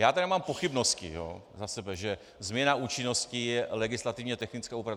Já tedy mám pochybnosti za sebe, že změna účinnosti je legislativně technická úprava.